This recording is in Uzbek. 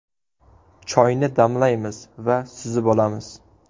Choyni damlaymiz va suzib olamiz.